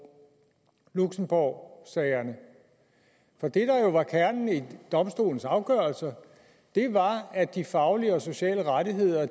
luxembourgsagerne det der jo var kernen i domstolens afgørelser var at de faglige og sociale rettigheder